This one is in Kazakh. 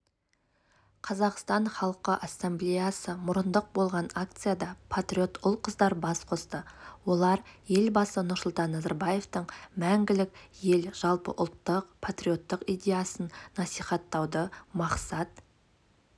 қазақстан халқы ассамблеясы мұрындық болған акцияда патриот ұл-қыздар бас қосты олар елбасы нұрсұлтан назарбаевтың мәңгілік ел жалпыұлттық патриоттық идеясын насихаттауды мақсат